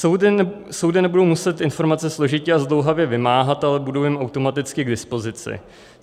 Soudy nebudou muset informace složitě a zdlouhavě vymáhat, ale budou jim automaticky k dispozici.